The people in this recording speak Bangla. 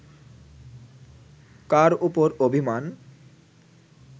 কার ওপর অভিমান